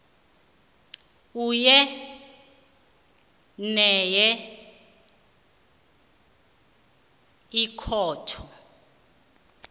enye nenye ikhotho